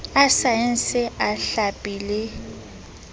a saense a hlapi e